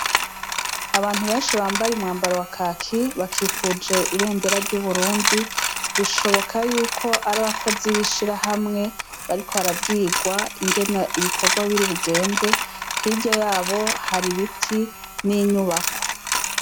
Abantu benshi bambaye umwambaro wa kaki bakikije ibendera ry'Uburundi bishika Yuka ar'arabakozi n'ishirahamwe bariko barabwirwa inge ibikorwa biri bugende, hirya yabo har'ibiti n'inyubako.